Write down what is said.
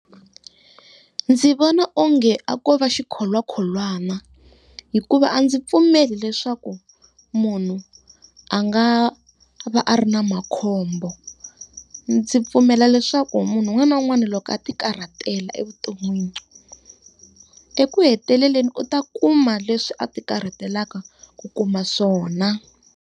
Ndzi vona onge a ko va xikholwakholwana, hikuva a ndzi pfumeli leswaku munhu a nga va a ri na makhombo. Ndzi pfumela leswaku munhu un'wana na un'wana loko a ti karhatela evuton'wini, eku heteleleni u ta kuma leswi a ti karhatelaka ku kuma swona.